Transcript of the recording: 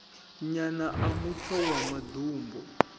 nyana a mutsho wa maḓumbu